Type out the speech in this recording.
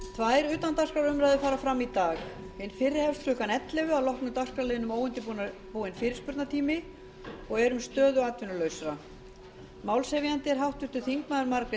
tvær utandagskrárumræður fara fram í dag hin fyrri hefst klukkan ellefu að loknum dagskrárliðnum óundirbúinn fyrirspurnatími og er um stöðu atvinnulausra málshefjandi er háttvirtur þingmaður margrét